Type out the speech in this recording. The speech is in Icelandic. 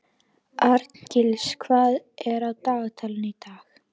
Arngils, hvað er á dagatalinu í dag?